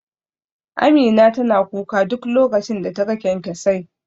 Amina tana kuka duk lokacin da ta ga kyankyasai